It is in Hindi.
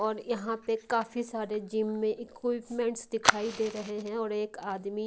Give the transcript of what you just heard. और यहाँ पे काफी सारे जिम में इक्विपमेंट्स दिखाई दे रहे हैं और एक आदमी--